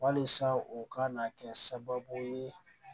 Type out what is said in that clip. Walisa o ka na kɛ sababu ye